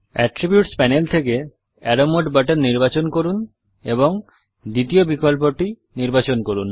attributes panel থেকে arrow mode button নির্বাচন করুন এবং দ্বিতীয় বিকল্পটি নির্বাচন করুন